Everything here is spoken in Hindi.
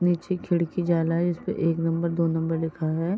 नीचे खिड़की जाला है। जिस पे एक नंबर दो नंबर लिखा है।